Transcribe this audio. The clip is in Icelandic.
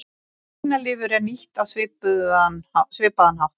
Svínalifur er nýtt á svipaðan hátt.